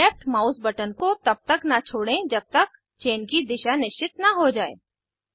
left mouse button को तब तक न छोड़ें जब तक चेन की दिशा निश्चित न हो जाये